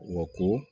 Wa ko